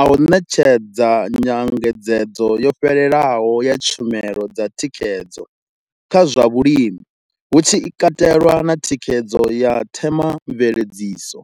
a u ṋetshedza nyengedzedzo yo fhelelaho ya tshumelo dza thikhedzo kha zwa vhulimi, hu tshi katelwa na thikhedzo ya themamveledziso.